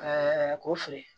ko filɛ